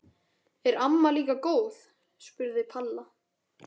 Er amma líka góð? spurði Palla.